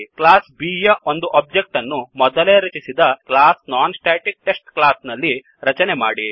class B ಯ ಒಂದು object ಅನ್ನುಮೊದಲೇ ರಚಿಸಿದ ಕ್ಲಾಸ್ ನಾನ್ಸ್ಟಾಟಿಕ್ಟೆಸ್ಟ್ ಕ್ಲಾಸ್ ನಲ್ಲಿ ರಚನೆ ಮಾಡಿ